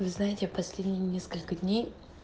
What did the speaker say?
вы знаете последние несколько дней